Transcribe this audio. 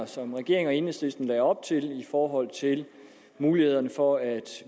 som regeringen og enhedslisten lagde op til i forhold til mulighederne for at